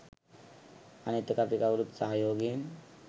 අනිත් එක අපි කවුරුත් සහයෝගයෙන්